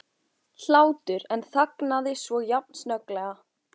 hlátur en þagnaði svo jafn snögglega.